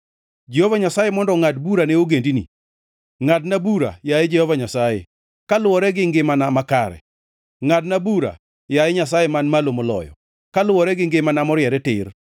Jehova Nyasaye mondo ongʼad bura ne ogendini. Ngʼadna bura, yaye Jehova Nyasaye, kaluwore gi ngimana makare, ngʼadna bura, yaye Nyasaye Man Malo Moloyo, kaluwore gi ngimana moriere tir.